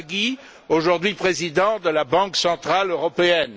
Draghi, aujourd'hui président de la Banque centrale européenne